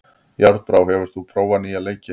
Járnbrá, hefur þú prófað nýja leikinn?